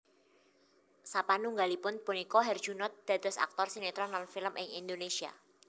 Sapanunggalipun punika Herjunot dados aktor sinetron lan film ing Indonesia